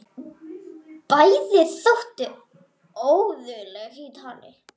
Bæði þóttu óguðleg í tali.